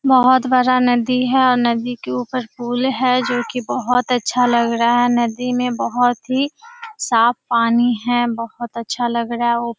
बहुत बडा नदी है और नदी के ऊपर पुल है जो कि बहुत अच्छा लग रह है। नदी में बहुत ही साफ पानी है। बहुत अच्छा लग रह है। उ --